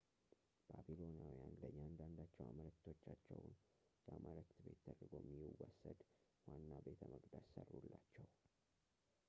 ባቢሎናውያን ለእያንዳንዳቸው አማልክቶቻቸው የአማልክት ቤት ተደርጎ የሚወሰድ ዋና ቤተመቅደስ ሠሩላቸው